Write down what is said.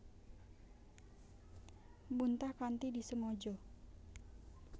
Muntah kanthi disengaja